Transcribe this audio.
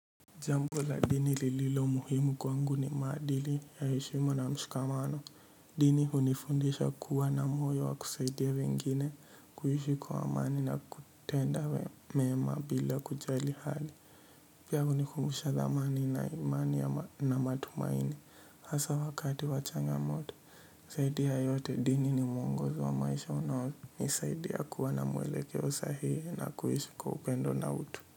Jambo la dini lililo muhimu kwangu ni maadili ya heshima na mshikamano. Dini hunifundisha kuwa na moyo wa kusaidia wengine kuishi kwa amani na kutenda we mema bila kujali hali. Pia hunikumbusha dhamani na imani na matumaini hasa wakati wa changa moto. Zaidi ya yote dini ni mwongozo wa maisha unaonisaidia kuwa na mwelekeo sahii na kuishi kwa upendo na utu.